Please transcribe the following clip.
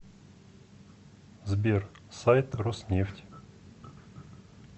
сбер сайт роснефть